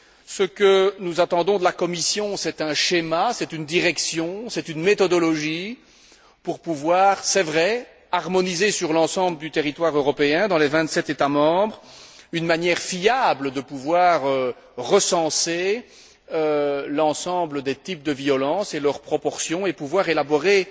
Ce que nous attendons de la Commission, c'est un schéma, c'est une direction, c'est une méthodologie pour pouvoir harmoniser sur l'ensemble du territoire européen, dans les vingt sept États membres, une manière fiable de recenser l'ensemble des types de violence et leur proportion et pouvoir élaborer,